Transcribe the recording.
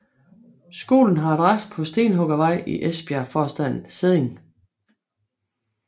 Skolen har adresse på Stenhuggervej i Esbjergforstaden Sædding